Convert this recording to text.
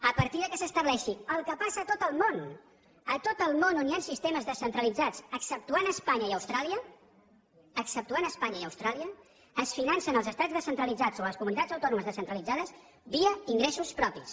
a partir que s’estableixi el que passa a tot el món a tot el món on hi han sistemes descentralitzats exceptuant espanya i austràlia exceptuant espanya i austràlia es financen els estats descentralitzats o les comunitats autònomes descentralitzades via ingressos propis